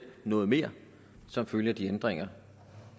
noget mere som følge af de ændringer